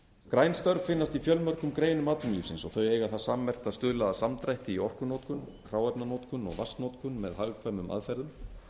græn störf finnast í fjölmörgum geirum atvinnulífsins og þau eiga það sammerkt að stuðla að samdrætti í orkunotkun hráefnanotkun og vatnsnotkun með hagkvæmum aðferðum